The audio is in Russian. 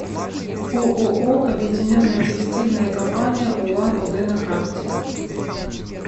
ооо объединенная текстильная компания улан удэ на карте